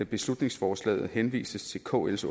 beslutningsforslaget henvises til kls